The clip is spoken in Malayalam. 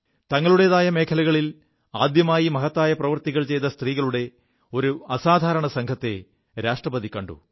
തങ്ങളുടേതായ മേഖലകളിൽ ആദ്യമായി മഹത്തായ പ്രവൃത്തികൾ ചെയ്ത സ്ത്രീകളുടെ ഒരു അസാധാരണ സംഘത്തെ രാഷ്ട്രപതി കണ്ടു